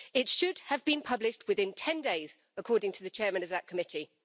It should have been published within ten days, according to the Chairman of that Committee.